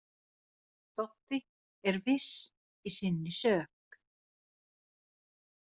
Doddi er viss í sinni sök.